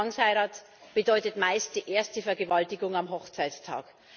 Zwangsheirat bedeutet meist die erste Vergewaltigung am Hochzeitstag.